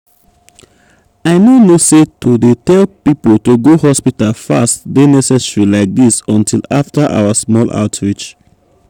i no know say to dey tell people to go hospital fast dey necessary like this until after our small outreach.